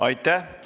Aitäh!